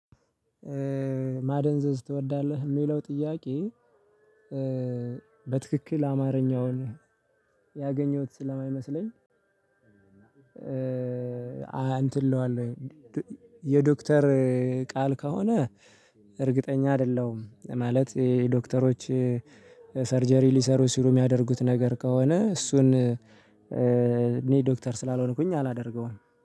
ማደንዘዝ ትወዳለህ የሚለው ጥያቄ። በትክክል አማርኛውን ያገኘሁት ስለማይመስለኝ። እንትን እለዋለሁ። የዶክተር ቃል ከሆነ እርግጠኛ አይደለሁም። ማለት የዶክተሮች ሰርጀሪ ሊሰሩ ሲሉ የሚያደርጉት ነገር ከሆነ እሱን እኔ ዶክተር ስላልሆንኩኝ አላደርገውም